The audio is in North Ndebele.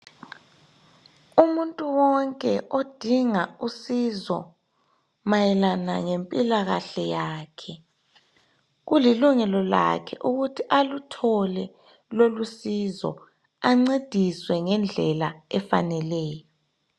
Umuntu wonke odinga usizo mayelana ngempilakahle yakhe kulilungelo lakhe ukuthi aluthole lolu sizo ancediswe ngendlela efaneleyo.